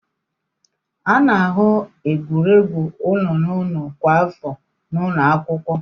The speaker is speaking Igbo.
A na-ahụ egwuregwu ụlọ n'ụlọ kwa afọ n'ụlọ akwụkwọ.